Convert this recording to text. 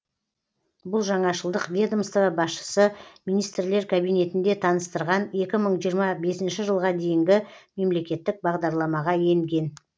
бұл жаңашылдық ведомство басшысы министрлер кабинетінде таныстырған екі мың жиырма бесінші жылға дейінгі мемлекеттік бағдарламаға енген